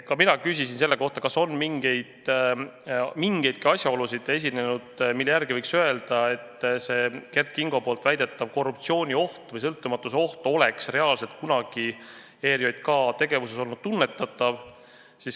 Ka mina küsisin selle kohta, kas on olnud mingeidki asjaolusid, mille tõttu võiks öelda, et Kert Kingo väidetav korruptsioonioht või sõltumatuse puudumise oht oleks kunagi ERJK tegevuses reaalselt tunnetatav olnud.